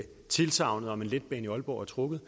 tilsagnet om en letbane i aalborg er trukket